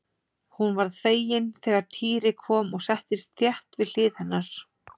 Hún varð fegin þegar Týri kom og settist þétt við hlið hennar.